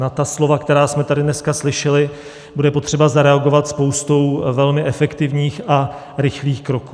Na ta slova, která jsme tady dneska slyšeli, bude potřeba zareagovat spoustou velmi efektivních a rychlých kroků.